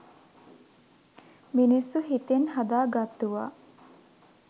මිනිස්සු හිතෙන් හදා ගත්තුවා.